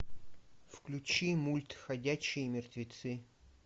включи мульт ходячие мертвецы